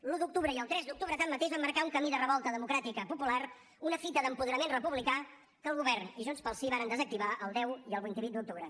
l’un d’octubre i el tres d’octubre tanmateix van marcar un camí de revolta democràtica popular una fita d’apoderament republicà que el govern i junts pel sí varen desactivar el deu i el vint vuit d’octubre